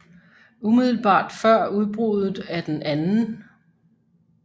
Umiddelbart før udbruddet af den 2